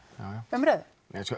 umræðu